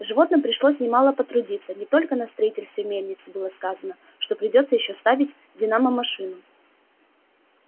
животным пришлось немало потрудиться не только на строительстве мельницы было сказано что придётся ещё ставить динамомашину